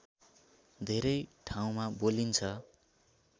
धेरै ठाउँमा बोलिन्छ